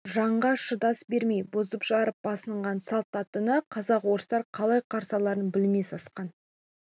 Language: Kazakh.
жанға шыдас бермей бұзып-жарып басынған салт аттыны қазақ-орыстар қалай қарсы аларын білмей сасқан